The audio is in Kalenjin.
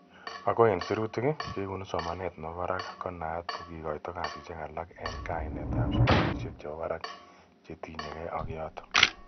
Ako eng sirutik ,kekonu somanet nebo barak ko na at ko kikoitoi kasishek alak eng kainet ab sukulishek che bo barak che tinye kei ak yotok.